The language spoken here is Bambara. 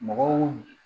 Mɔgɔw